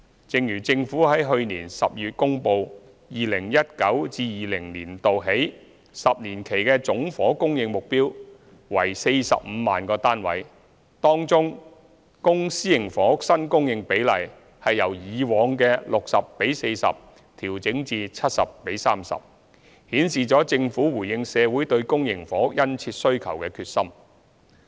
正如政府在去年12月公布 ，2019-2020 年度起10年期的總房屋供應目標為45萬個單位。當中，公私營房屋新供應比例由以往的 60：40 調整至 70：30， 顯示了政府回應社會對公營房屋殷切需求的決心。